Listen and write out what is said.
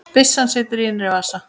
Byssan situr í innri vas